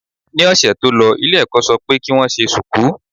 Ní ọ̀sẹ̀ tó lọ ilé ẹ̀kọ́ ṣọ pé kí wọ́n ṣe ṣùkú.